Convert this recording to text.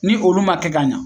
Ni olu ma kɛ ka ɲa